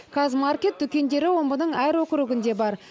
қазмаркет дүкендері омбының әр округінде бар